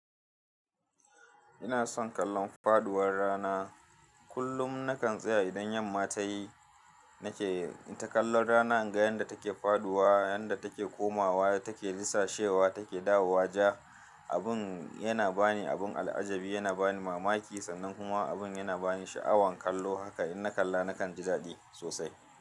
Ina son kallon faduwar rana. Kullum nakan tsaya idan yamma ta yi nake ta kallon rana, inga yadda take faduwa, yadda take komawa, take disashewa, take dawowa ja. Abun yana bani abun al'ajabi, yana bani mamaki, sannan kuma abun yana bani sha'awan kallo. Haka in na kalla nakan ji daɗi sosai.